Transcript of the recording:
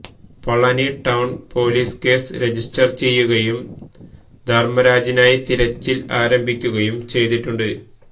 Palani town police case register ചെയ്യുകയും ധർമ്മരാജിനായി തിരച്ചിൽ ആരംഭിക്കുകയും ചെയ്തിട്ടുണ്ട്